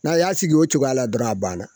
Na y'a sigi o cogoya la dɔrɔn a ban na.